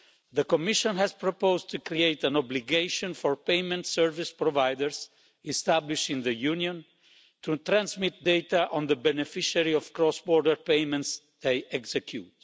The Commission has proposed to create an obligation for payment service providers established in the Union to transmit data on the beneficiary of cross border payments they execute.